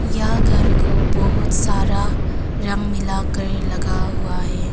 यह घर को बहुत सारा मिला कर लगा हुआ है।